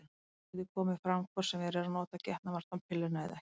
Hún getur komið fram hvort sem verið er að nota getnaðarvarnarpilluna eða ekki.